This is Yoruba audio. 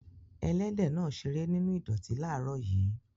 Ẹlẹ́dẹ̀ náà ṣeré nínú ìdọ̀tí láàárọ̀ yìí.